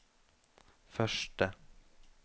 første